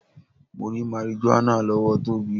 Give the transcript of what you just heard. Mo rí marijuana lọ́wọ́ Tóbi.